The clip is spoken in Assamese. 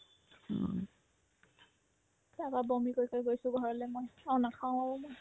তাৰপৰা বমি কৰি কৰি গৈছো ঘৰলে মই অ নাখাও অ' মই